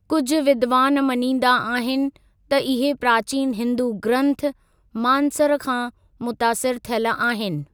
कुझु विद्वान मञींदा आहिनि त इहे प्राचीन हिंदू ग्रंथ मानसर खां मुतासिर थियल आहिनि।